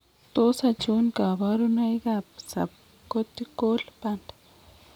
Tos achon kabarunaik ab Subcortical band ?